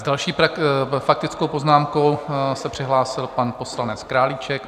S další faktickou poznámkou se přihlásil pan poslanec Králíček.